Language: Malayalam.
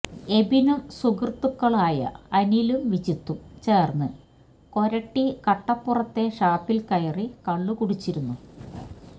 എബിനും സുഹൃത്തുക്കളായ അനിലും വിജിത്തും ചേർന്ന് കൊരട്ടി കട്ടപ്പുറത്തെ ഷാപ്പിൽ കയറി കള്ളു കുടിച്ചിരുന്നു